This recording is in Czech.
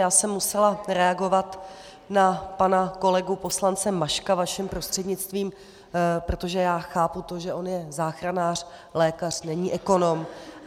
Já jsem musela reagovat na pana kolegu poslance Maška vaším prostřednictvím, protože já chápu to, že on je záchranář, lékař, není ekonom.